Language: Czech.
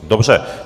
Dobře.